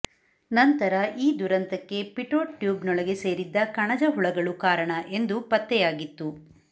ನಂತರ ಈ ದುರಂತಕ್ಕೆ ಪಿಟೋಟ್ ಟ್ಯೂಬ್ನೊಳಗೆ ಸೇರಿದ್ದ ಕಣಜ ಹುಳಗಳು ಕಾರಣ ಎಂದು ಪತ್ತೆಯಾಗಿತ್ತು